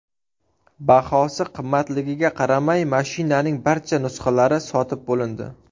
Bahosi qimmatligiga qaramay, mashinaning barcha nusxalari sotib bo‘lindi.